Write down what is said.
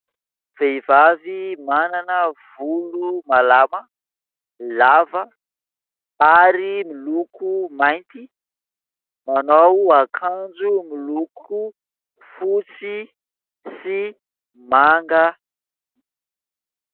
Vehivavy manana volo malama lava, ary miloko mainty, manao akanjo miloko fotsy sy manga.